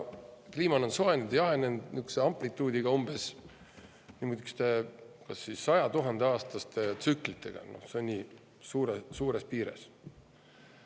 Kliima on soojenenud ja jahenenud niisuguse amplituudiga umbes 100 000-aastaste tsüklite kaupa, nii suures piires.